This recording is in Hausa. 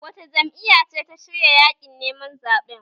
Wace jam'iyya ce ta shirya yaƙin neman zaɓen?